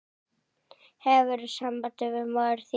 Hefurðu samband við móður þína?